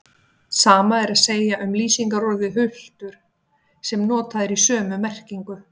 Sama er að segja um lýsingarorðið hultur sem notað er í sömu merkingu.